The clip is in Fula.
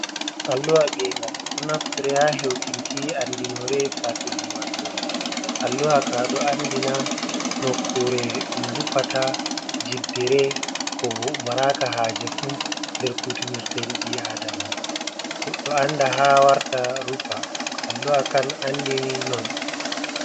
Alluha gengal ɗon naftire ha heutinki andinoree faki ummatore alluhaka ɗo andina nokkure ɗum rufata jiddere ko maraka hajefun nder kutinir tedibi adama o do anda ha warata rufa alluha kan andini non.